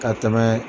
Ka tɛmɛ